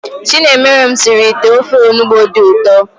Chinemerem sịrị ite ofe Onugbu dị ụtọ